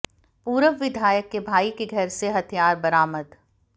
पूर्व विधायक के भाई के घर से हथियार बरामद